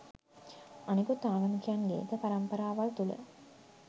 අනිකුත් ආගමිකයින්ගේද පරම්පරාවල් තුල